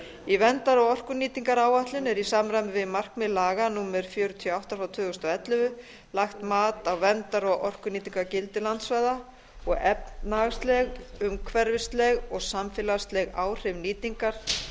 í verndar og orkunýtingaráætlun er í samræmi við markmið laga númer fjörutíu og átta tvö þúsund og ellefu lagt mat á verndar og orkunýtingargildi landsvæða og efnahagsleg umhverfisleg og samfélagsleg áhrif nýtingar